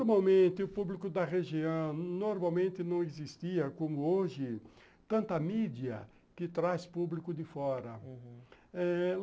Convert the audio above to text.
Normalmente, o público da região, normalmente não existia, como hoje, tanta mídia que traz público de fora, uhum.